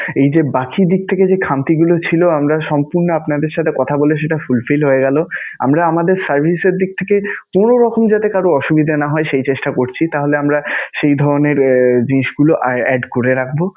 এই যে বাকি দিক থেকে যে খামতিগুলো ছিলো আমরা সম্পূর্ণ আপনাদের সাথে কথা বলে সেটা full fill হয়ে গেলো. আমরা আমাদের service এর দিক থেকে কোন রকম যাতে কারও অসুবিধা না হয়, সেই চেষ্টা করছি. তাহলে আমরা সেই ধরণের জিনিসগুলো add করে রাখবো.